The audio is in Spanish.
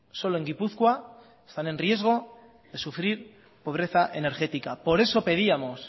solo en gipuzkoa están en riesgo de sufrir pobreza energética por eso pedíamos